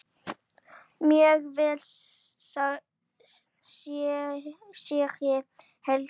Mjög vel segir Helgi.